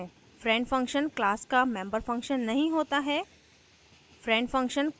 friend function class का member function नहीं होता है